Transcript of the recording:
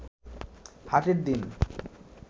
হাটের দিন